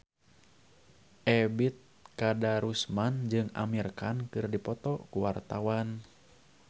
Ebet Kadarusman jeung Amir Khan keur dipoto ku wartawan